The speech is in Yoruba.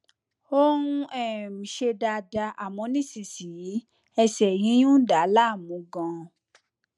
ó ń um ṣe dáadáa àmọ nísinsìnyí ẹsẹ yíyún ń dà á láàmú ganan